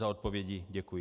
Za odpovědi děkuji.